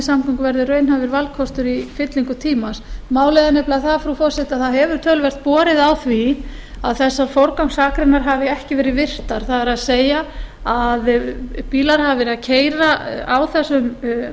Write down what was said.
almenningssamgöngur verði raunhæfur kostur í fyllingu tímans málið er það frú forseti að það hefur töluvert borið á því að þessar forgangsakreinar hafi ekki verið virtar það er að bílar hafi verið að keyra á þessum